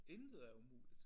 Intet er umuligt